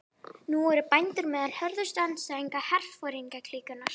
Nú eru bændur meðal hörðustu andstæðinga herforingjaklíkunnar.